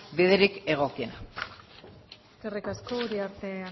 biderik egokiena eskerrik asko uriarte